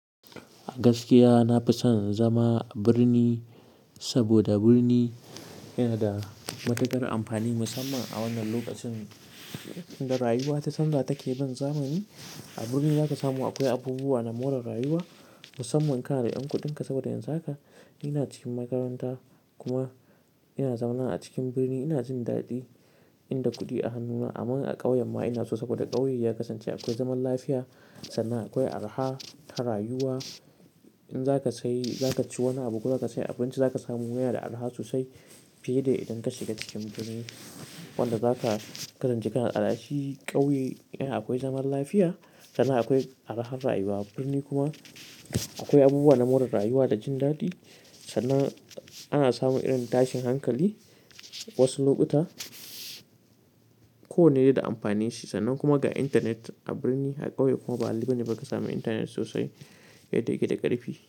Gaskiya, na fi son zama a birni saboda birni yana da matukar amfani musamman a wannan lokacin da rayuwa ta canza take bin zamani. A birni za ka samu akwai abubuwa na more rayuwa musamman kana 'yan kuɗinka saboda yanzu haka ina cikin makaranta kuma ina zaune a cikin birni ina jin daɗi inda kuɗi a hannuna. Amma a ƙauyen ma ina so saboda ƙauye ya kasance akwai zaman lafiya sannan akwai araha ta rayuwa. In zaka sayi, zaka ci wani abu ko zaka sayi abinci zaka samu wai yana da araha sosai fiye da idan ka shiga cikin birni. Wanda zaka kasance kana da alashi ƙauye yana akwai zaman lafiya sannan akwai arahan rayuwa. Birni kuma akwai abubuwa na more rayuwa da jin daɗi sannan ana samun irin tashin hankali wasu lokuta ko wane dai da amfanin shi. Sannan kuma ga internet a birni a ƙauye kuma ba a libi ne ba ka samu internet sosai yake yake da ƙarfi.